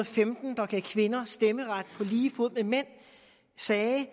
femten der gav kvinder stemmeret på lige fod med mænd sagde